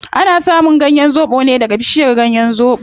Ana samun ganyen zobo ne daga bishiyar zobo